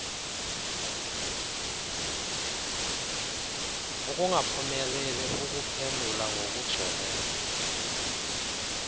ukungaphumeleli ukuphendula ngokugcweleyo